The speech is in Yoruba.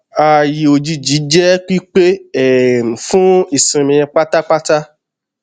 ààyè òjijì jẹ pípé um fún ìsinmi pátápátá